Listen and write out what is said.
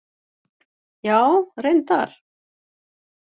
Já, reyndar.